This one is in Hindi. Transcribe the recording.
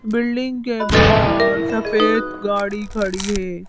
बिल्डिंग के बाहर सफेद गाड़ी खड़ी है।